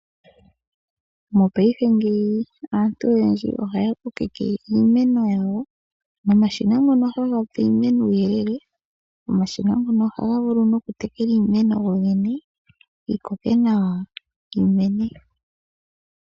Mopaife ngeyi aantu oyendji ohaya kokeke iimeno yawo. Omashina ngoka haga pe iimeno uuyelele ohaga vulu nokutekela iimeno gogene yiikoke nawa nosho woo yimene.